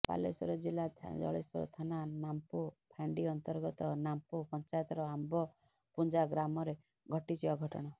ବାଲେଶ୍ବର ଜିଲ୍ଲା ଜଳେଶ୍ବର ଥାନା ନାମ୍ପୋ ଫାଣ୍ଡି ଅନ୍ତର୍ଗତ ନାମ୍ପୋ ପଞ୍ଚାୟତର ଆମ୍ବପୁଞ୍ଜା ଗ୍ରାମରେ ଘଟିଛି ଅଘଟଣ